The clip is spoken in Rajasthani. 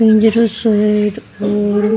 पिंजरों सा है एक और--